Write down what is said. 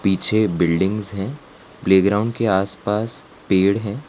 पिछे बिल्डिंग्स हैं प्लेग्राउंड के आसपास पेड़ हैं।